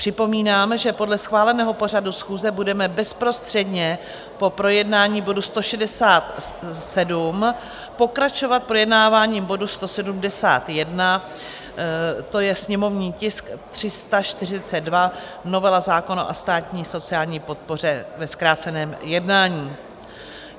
Připomínám, že podle schváleného pořadu schůze budeme bezprostředně po projednání bodu 167 pokračovat projednáváním bodu 171, to je sněmovní tisk 342, novela zákona o státní sociální podpoře ve zkráceném jednání.